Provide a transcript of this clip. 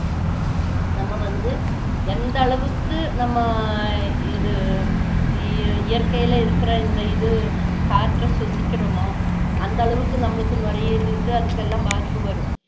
நம்ம வந்து எந்த அளவுக்கு நம்ம இது இ~ இயற்கையில இருக்குற இந்த இது காற்று சுவாசிக்கிரோமா அந்த அளவுக்கு நம்மளுக்கு நுரையீரலுக்கு அதுக்கெல்லாம் பாதிப்பு வரும்